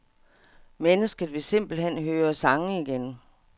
Mennesket vil simpelt hen høre sange igen.